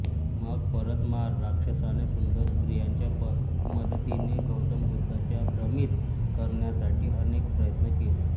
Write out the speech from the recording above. मग परत मार राक्षसाने सुंदर स्त्रियांच्या मदतीने गौतम बुद्धांना भ्रमित करण्यासाठी अनेक प्रयत्न केले